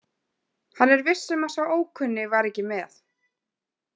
Hann er viss um að sá ókunni var ekki með.